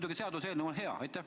Aga seaduseelnõu ise on muidugi hea.